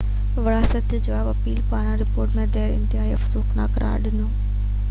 وزارت جواب ۾ ايپل پاران رپورٽ ۾ دير کي ”انتهائي افسوسناڪ قرار ڏنو